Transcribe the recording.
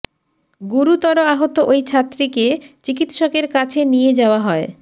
গুরুতর আহত ওই ছাত্রীকে চিকিৎসকের কাছে নিয়ে যাওয়া হয়